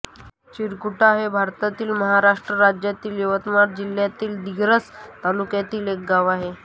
चिरकुटा हे भारतातील महाराष्ट्र राज्यातील यवतमाळ जिल्ह्यातील दिग्रस तालुक्यातील एक गाव आहे